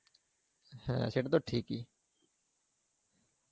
হ্যাঁ, সেটা তো ঠিকই.